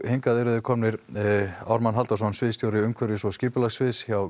hingað eru komnir þeir Ármann Halldórsson sviðsstjóri umhverfis og skipulagsmála hjá